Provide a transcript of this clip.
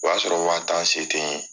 O y'a sɔrɔ waa taa se tɛ n'ye